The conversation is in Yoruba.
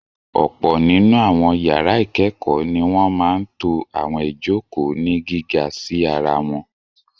Ọ̀pọ̀ nínú àwọn yàrá ìkẹ́kọ̀ọ́ ni wọ́n máa ń to àwọn ìjokòó ní gíga sí ara wọn.